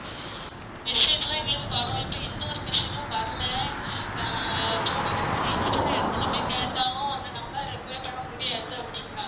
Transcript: Message லாம் எங்களுக்கு வரும் இப்போ எந்த ஒரு message உம் வரல ஆஹ் இப்போ நாங்க change பண்ண இடத்துல போயி கேட்டாலும் அந்த number recover பண்ண முடியாது அப்படீங்குறாங்க